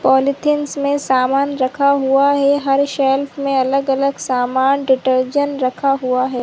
Polythene में सामान रखा हुआ है हर शेल्फ में अलग-अलग सामान डिटर्जेंट रखा हुआ है ।